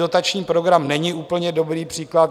Dotační program není úplně dobrý příklad.